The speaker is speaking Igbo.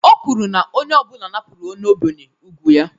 O kwuru na onye ọ bụla napụrụ onye ogbenye ùgwù ya